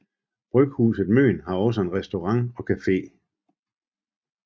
Bryghuset Møn har også en restaurant og cafe